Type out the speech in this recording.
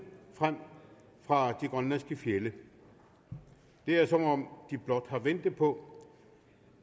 fra de grønlandske fjelde det er som om de blot har ventet på